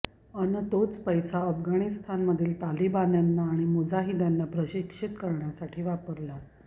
अन् तोच पैसा आफगाणमधील तालिबान्यांना आणि मुजाहिद्यांना प्रशिक्षित करण्यासाठी वापरला